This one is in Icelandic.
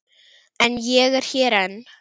En ég er hér enn.